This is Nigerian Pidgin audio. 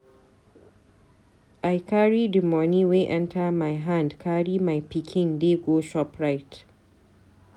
I carry di moni wey enta my hand carry my pikin dey go Shoprite.